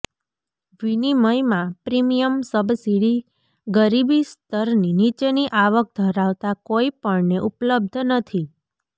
વિનિમયમાં premium subsidy ગરીબી સ્તરની નીચેની આવક ધરાવતા કોઈપણને ઉપલબ્ધ નથી